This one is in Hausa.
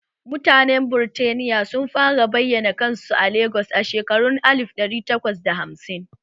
Mutanen Birtaniya sun fara bayana kansu a Legas a shekarun alif ɗari takwas da hamsin